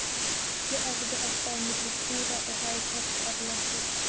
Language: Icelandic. Ég æfði alltaf á milli túra og hafði keppt erlendis.